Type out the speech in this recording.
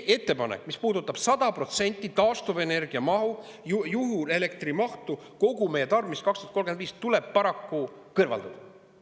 Ettepanek toota 100%, tuleb paraku kõrvaldada.